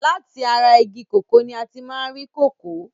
Láti ara igi kòkó ní a ti máa ń rí kòkó.